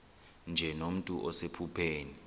nje nomntu osephupheni